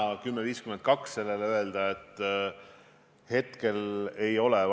Kindlasti on sellises olukorras ülioluline püüda anda väga selgeid sõnumeid.